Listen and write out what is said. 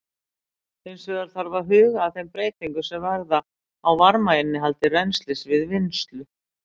Hins vegar þarf að huga að þeim breytingum sem verða á varmainnihaldi rennslis við vinnslu.